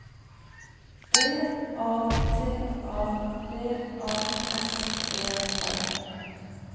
D A T A B A S E R